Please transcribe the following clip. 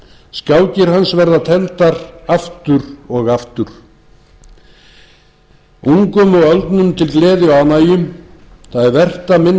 skákir hans verða tefldar aftur og aftur ungum og öldnum til gleði og ánægju það er vert að minnast skákafreka